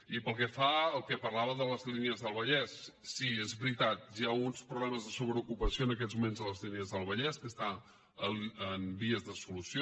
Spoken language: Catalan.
i pel que fa al que parlava de les línies del vallès sí és veritat hi ha uns problemes de sobreocupació en aquests moments a les línies del vallès que estan en vies de solució